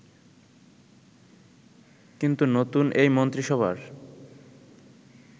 কিন্তু নতুন এই মন্ত্রিসভার